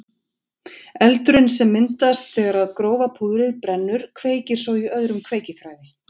Eldurinn sem myndast þegar grófa púðrið brennur kveikir svo í öðrum kveikiþræði.